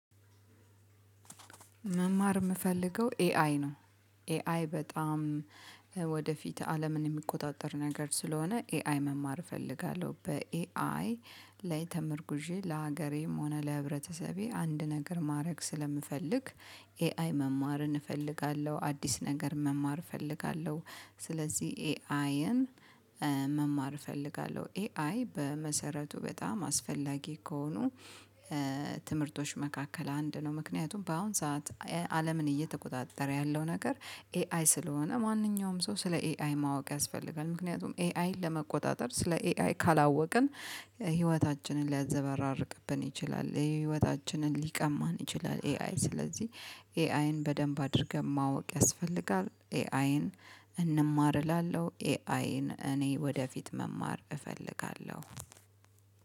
መማር ምፈልገው ኤአይ ነው ኤአይ በጣም ወደፊት አለምን የሚቆጣጠር ነገር ስለሆነ ኤአይ መማር እፈልጋለሁ በኤአይ ላይ ተመርጉዤ ለሀገሬም ሆነ ለህብረተሰቤ አንድ ነገር ማድረግ ስለምፈልግ ኤአይ መማርን እፈልጋለሁ አዲስ ነገር መማር እፈልጋለሁ ስለዚህ ኤአይን መማር እፈልጋለሁ ኤአይ በመሰረቱ በጣም አስፈላጊ ከሆኑ ትምህርቶች መካከል አንድ ነው ምክንያቱም በአሁን ሰዓት አለምን እየተቆጣጠረ ያለው ነገር ኤአይ ስለሆነ ማንኛውም ሰው ስለ ኤአይ ማወቅ ያስፈልጋል ምክንያቱም ኤአይን ለመቆጣጠር ስለ ኤአይ ካላወቅን ህይወታችንን ሊያዘበራርቅብን ይችላል የህይወታችንን ሊቀማን ይችላል ኤአይ ስለዚህ ኤአይን በደንብ አድርገን ማወቅ ያስፈልጋል ኤአይን እንማር እላለሁ ኤአይን እኔ ወደፊት መማር እፈልጋለሁ።